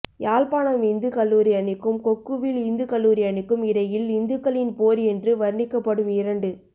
யாழ்ப்பாணம் இந்து கல்லூரி அணிக்கும் கொக்குவில் இந்துக் கல்லூரி அணிக்கும் இடையில் இந்துக்களின் போர் என்று வர்ணிக்கப்படும் இரண்டு